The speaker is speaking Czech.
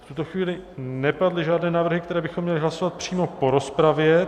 V tuto chvíli nepadly žádné návrhy, které bychom měly hlasovat přímo po rozpravě.